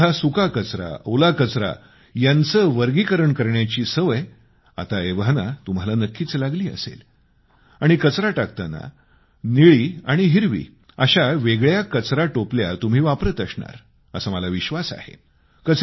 घरामधला सुका कचरा ओला कचरा यांचे वर्गीकरण करण्याची सवय आता एव्हाना तुम्हाला नक्कीच लागली असेल आणि कचरा टाकताना निळी आणि हिरवी अशा वेगळ्या कचरा टोपल्या तुम्ही वापरत असणार असा मला विश्वास आहे